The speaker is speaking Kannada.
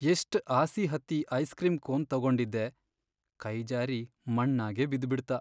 ಎಷ್ಟ್ ಆಸಿ ಹತ್ತಿ ಐಸ್ ಕ್ರೀಂ ಕೋನ್ ತೊಗೊಂಡಿದ್ದೆ, ಕೈ ಜಾರಿ ಮಣ್ಣಾಗೇ ಬಿದ್ಬಿಡ್ತ.